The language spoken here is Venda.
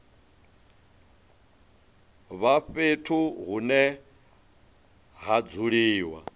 vha fhethu hune ha dzuliwa